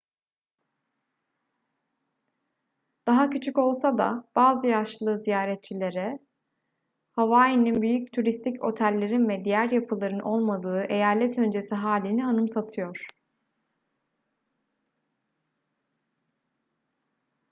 daha küçük olsa da bazı yaşlı ziyaretçilere hawai'nin büyük turistik otellerin ve diğer yapıların olmadığı eyalet öncesi hâlini anımsatıyor